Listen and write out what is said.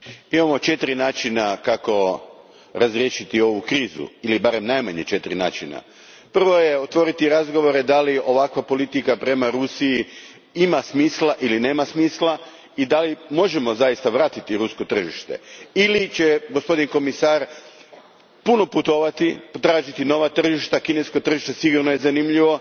Gospodine predsjedniče, imamo četiri načina kako razriješiti ovu krizu ili barem najmanje četiri načina. Prvo je otvoriti razgovore da li ovakva politika prema Rusiji ima smisla ili nema smisla i možemo li zaista vratiti rusko tržište ili će gospodin povjerenik mnogo putovati i tražiti nova tržišta kinesko tržište sigurno je zanimljivo.